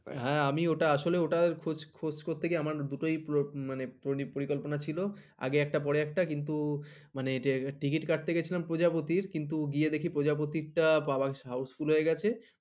হ্যাঁ আমি আসলে ওটা আসলে খোঁজ করতে গিয়ে আমার দুটোই পরিকল্পনা ছিল আগে একটার পর একটা কিন্তু মানে Ticket কাটতে গেছিলাম প্রজাপতির গিয়ে দেখি প্রজাপতির টা Housefull হয়ে গেছে